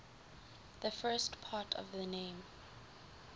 the first part of the name